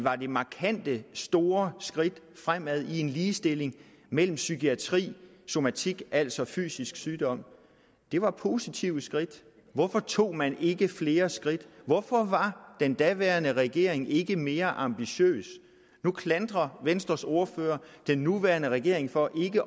var det markante store skridt fremad i en ligestilling mellem psykiatri og somatik altså fysisk sygdom det var positive skridt hvorfor tog man ikke flere skridt hvorfor var den daværende regering ikke mere ambitiøs nu klandrer venstres ordfører den nuværende regering for ikke